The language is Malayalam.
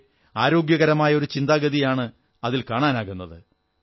പക്ഷേ ആരോഗ്യകരമായ ഒരു ചിന്താഗതിയാണ് അതിൽ കാണാനാകുന്നത്